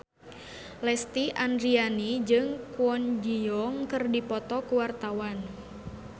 Lesti Andryani jeung Kwon Ji Yong keur dipoto ku wartawan